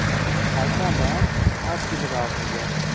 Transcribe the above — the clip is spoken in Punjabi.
ਸੇਬਾ ਦਾ ਅਸ੍ਰਸੀ ਲਘੁ ਹੁਗਇਆ